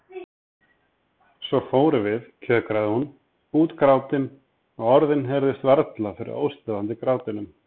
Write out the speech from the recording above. Svo fórum við, kjökraði hún, útgrátin og orðin heyrðust varla fyrir óstöðvandi grátinum.